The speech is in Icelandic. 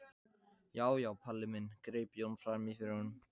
Já já, Palli minn, greip Jón fram í fyrir honum.